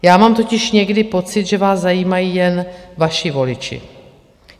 Já mám totiž někdy pocit, že vás zajímají jen vaši voliči.